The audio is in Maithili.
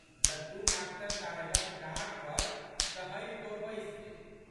लड्डू मास्टर साहेबक डाँट पर सहमिकए बैसि गेल।